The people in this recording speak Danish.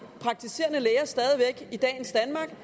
i dagens danmark